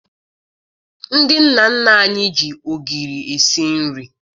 Ndị nna nna anyị ji ogiri esi nri